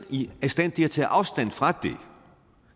i stand til at tage afstand fra